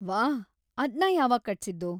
ವಾಹ್, ಅದ್ನ ಯಾವಾಗ್ ಕಟ್ಸಿದ್ದು?